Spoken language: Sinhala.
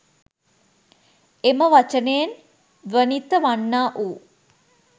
එම වචනයෙන් ද්වනිත වන්නා වු